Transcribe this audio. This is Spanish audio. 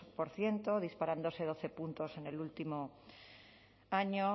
por ciento disparándose doce puntos en el último año